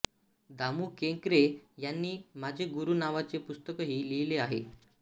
दामू केंकरे यांनी माझे गुरू नावाचे पुस्तकही लिहिलेले आहे